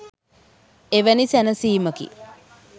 එවැනි සැනසීමකි